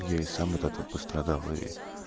я и сам от этого пострадал и